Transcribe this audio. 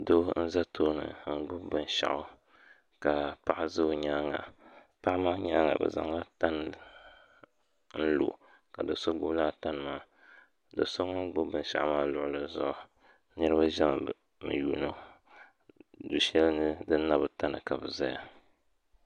Doo n za tooni n gbubi bin'shɛɣu ka paɣa ʒe o nyaanga paɣa maa nyaanga bɛ zaŋla tani n lo ka do'so gbubi laa tani maa do'so ŋun gbubi bin'shɛɣu maa luɣili zuɣu niriba ʒiɛmi n yuuni o du'shɛli ni din na bi ta ni ka bɛ ʒeya